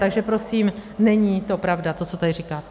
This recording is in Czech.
Takže prosím není to pravda to, co tady říkáte.